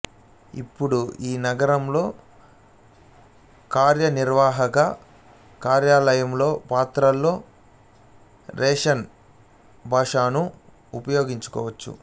ఇప్పుడు ఈ నగరాల్లో కార్యనిర్వాహక కార్యాలయాలలో పత్రాల్లో రష్యన్ భాషను ఉపయోగించవచ్చు